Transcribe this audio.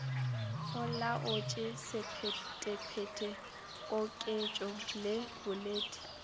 olaotše sephetephete koketšo le boledi